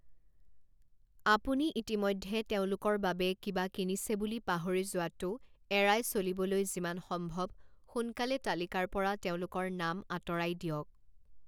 আপুনি ইতিমধ্যে তেওঁলোকৰ বাবে কিবা কিনিছে বুলি পাহৰি যোৱাটো এৰাই চলিবলৈ যিমান সম্ভৱ সোনকালে তালিকাৰ পৰা তেওঁলোকৰ নাম আঁতৰাই দিয়ক।